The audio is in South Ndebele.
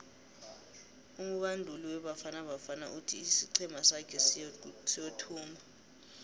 umubanduli webafana bafana uthi isiqhema sake siyothumba